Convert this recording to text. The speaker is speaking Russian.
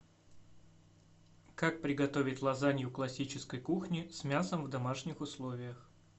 как приготовить лазанью классической кухни с мясом в домашних условиях